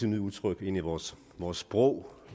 nye udtryk ind i vores vores sprog